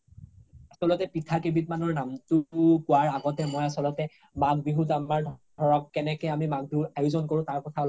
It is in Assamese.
আচ্ল্তে পিঠা কেই বিধ মানৰ নামটো কুৱাৰ আগতে মই, মই আচ্ল্তে মাঘ বিহুৰ ধৰক কেনেকে আমি মাঘ বিহুৰ আয়োজ্ন কৰো তাৰ কথা অলপ